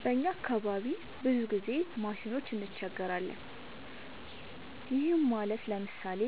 በእኛ አካባቢ ብዙ ጊዜ ማሽኖች እንቸገራለን። ይህም ማለት ለምሳሌ፦